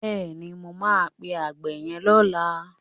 Bẹ́ẹ̀ni, mo máa pe àgbẹ̀ yẹn lọ́la.